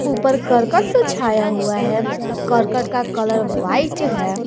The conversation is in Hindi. ऊपर करकट से हुआ है करकट का कलर वाइट है।